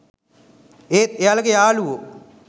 ඒත් එයාලගේ යාලුවෝ